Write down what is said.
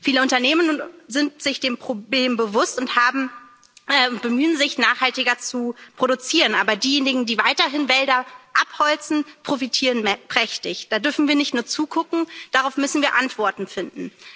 Viele Unternehmen sind sich des Problems bewusst und bemühen sich, nachhaltiger zu produzieren, aber diejenigen, die weiterhin Wälder abholzen, profitieren prächtig. Da dürfen wir nicht nur zugucken, darauf müssen wir Antworten finden.